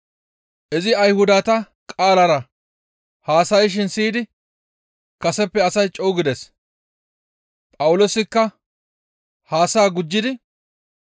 Izi Ayhudata qaalara haasayshin siyidi kaseppe asay co7u gides; Phawuloosikka haasayaa gujjidi,